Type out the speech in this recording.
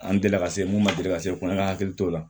An delila ka se mun ma deli ka se kɔnɔ an ka hakili t'o la